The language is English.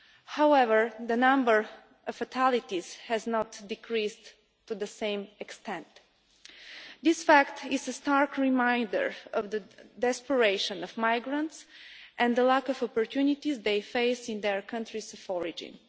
However, the number of fatalities has not decreased to the same extent. This fact is a stark reminder of the desperation of migrants and the lack of opportunities they face in their countries of origin.